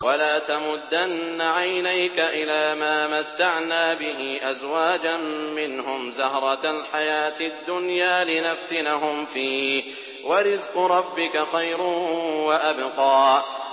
وَلَا تَمُدَّنَّ عَيْنَيْكَ إِلَىٰ مَا مَتَّعْنَا بِهِ أَزْوَاجًا مِّنْهُمْ زَهْرَةَ الْحَيَاةِ الدُّنْيَا لِنَفْتِنَهُمْ فِيهِ ۚ وَرِزْقُ رَبِّكَ خَيْرٌ وَأَبْقَىٰ